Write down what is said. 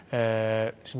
sem